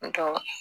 N tɔ